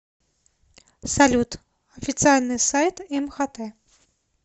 салют официальный сайт мхт